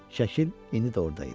Şəkil indi də orada idi.